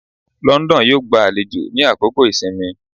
London yo gba àlejò ni àkókò ìsinmi